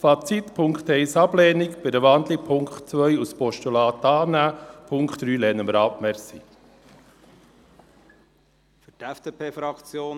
Fazit: Ablehnung von Ziffer 1, bei einer Wandlung Annahme von Ziffer 2 als Postulat, und die Ziffer 3 lehnen wir ab.